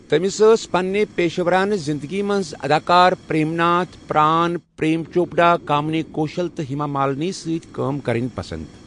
تٔمِس ٲس پنٛنہِ پیشورانہٕ زنٛدگی منز اداکار پرٛیم ناتھ، پرٛان، پرٛیم چوپڑا، کامنی کوشل تہٕ ہیما مالنی سۭتۍ کٲم کرٕنۍ پسنٛد۔